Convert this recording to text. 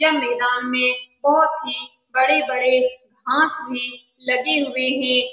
यह मैदान में बहुत ही बड़े-बड़े घास में लगे हुए है।